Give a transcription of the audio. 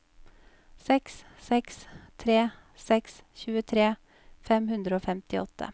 seks seks tre seks tjuetre fem hundre og femtiåtte